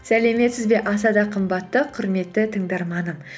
сәлеметсіз бе аса да қымбатты құрметті тыңдарманым